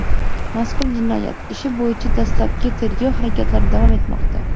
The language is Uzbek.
Mazkur jinoyat ishi bo‘yicha dastlabki tergov harakatlari davom etmoqda.